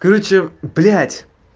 карочи блядь